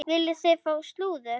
Viljið þið fá slúður?